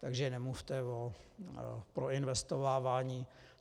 Takže nemluvte o proinvestovávání.